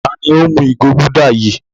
Ta ni ó ń mu ìgò Gulder yìí?